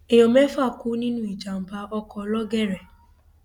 èèyàn mẹfà kú nínú ìjàmbá ọkọ lọgẹrẹ